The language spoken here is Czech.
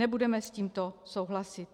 Nebudeme s tímto souhlasit.